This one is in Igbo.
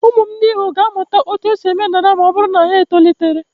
Ụmụ m ndị ikom ga-amụta otú e si eme dada ma ọ bụrụ na ha tolitere.